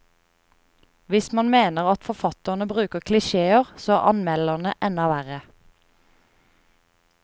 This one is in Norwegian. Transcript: Hvis man mener at forfatterne bruker klisjéer, så er anmelderne enda verre.